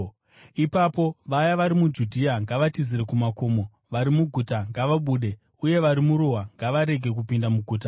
Ipapo vaya vari muJudhea ngavatizire kumakomo, vari muguta ngavabude, uye vari muruwa ngavarege kupinda muguta.